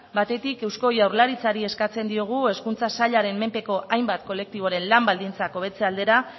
batetik eusko jaurlaritzari eskatzen diogu hezkuntza sailaren menpeko hainbat kolektiboren lan baldintzak hobetze aldera